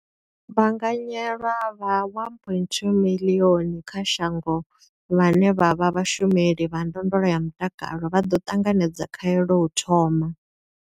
Vhaanganyelwa vha 1.25 miḽioni kha shango vhane vha vha vhashumeli vha ndondolo ya mutakalo vha ḓo ṱanganedza khaelo u thoma.